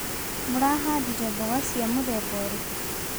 Mũrahandire mboga cia mũthemba ũrĩkũ.